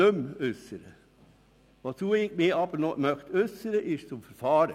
Ich äussere mich einzig noch zum Verfahren.